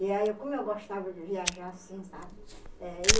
E aí, como eu gostava de viajar assim, sabe? Eh e